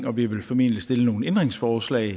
og vi ville formentlig stille nogle ændringsforslag